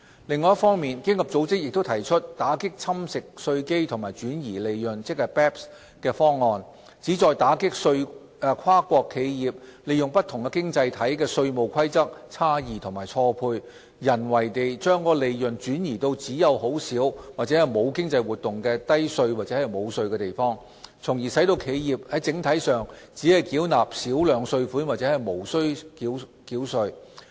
另一方面，經合組織亦提出打擊侵蝕稅基及轉移利潤的方案，旨在打擊跨國企業利用不同經濟體的稅務規則差異及錯配，人為地將利潤轉移至只有很少或沒有經濟活動的低稅或無稅地方，從而使企業整體上只繳納少量稅款或無需繳稅。